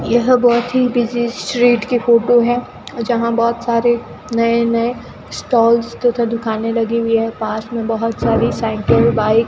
यह बहुत ही बिजी स्ट्रीट की फोटो है जहां बहुत सारे नए नए स्टॉल्स तथा दुकानें लगी हुई हैं पास में बहुत सारी साइकिल बाइक --